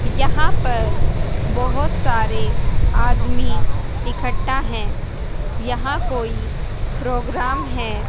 यहां पर बहोत सारे आदमी इकट्ठा हैं यहाँ कोई प्रोग्राम है।